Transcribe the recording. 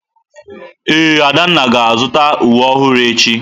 Ee, Adanna ga-azụta uwe ọhụrụ echi.